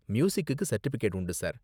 மியூசிக்குக்கு certificate உண்டு sir.